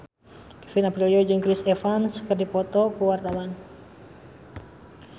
Kevin Aprilio jeung Chris Evans keur dipoto ku wartawan